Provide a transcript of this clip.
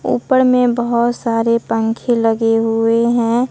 ऊपर में बहोत सारे पंखे लगे हुए हैं।